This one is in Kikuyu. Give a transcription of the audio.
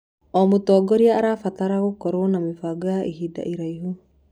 O mũtongoria arabatara gũkorwo na mĩbango ya ihinda iraihu.